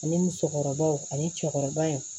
Ani musokɔrɔbaw ani cɛkɔrɔbaw